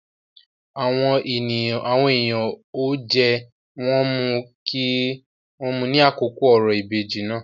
Àwọn èèyàn ó jẹ, wón mu ní àkókò òrò ìbejì náà.